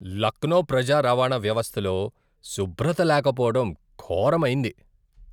లక్నో ప్రజా రవాణా వ్యవస్థలో శుభ్రత లేకపోవడం ఘోరమైంది.